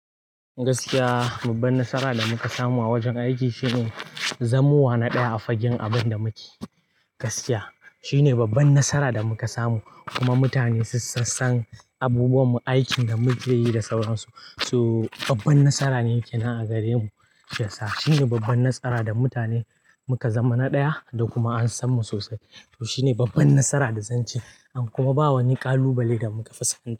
Gaskiya, babban nasara da muka samu a wajen aiki shine zamowa na ɗaya a fagen abinda muke. Gaskiya, shine babban nasara da muka samu, kuma mutane sun san san abubuwan mu, aikin da muke yi da sauran su. So babban nasara ne ke nan a gare mu. Shiyasa, shine babban nasara da mutane muka zama na ɗaya da kuma an san mu sosai. Shi ne babban nasara da zan ce, an kuma ba wa ni ƙalubale da muka fuskanta.